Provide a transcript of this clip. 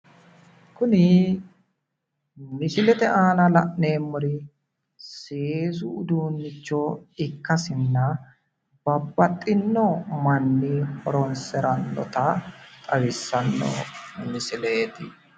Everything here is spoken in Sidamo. kuri misilete aana la'neemmorichi seesu uddiinnicho ikkasinna babbaxxinno manni horonsirannota xawissano misileeti